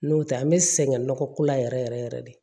N'o tɛ an bɛ sɛgɛn nɔgɔko la yɛrɛ yɛrɛ yɛrɛ de